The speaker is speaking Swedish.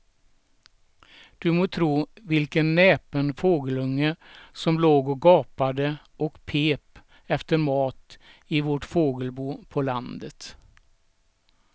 Du må tro vilken näpen fågelunge som låg och gapade och pep efter mat i vårt fågelbo på landet.